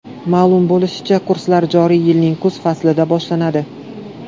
Ma’lum bo‘lishicha, kurslar joriy yilning kuz faslidan boshlanadi.